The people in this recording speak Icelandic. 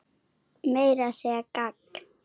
Meira að segja gagn.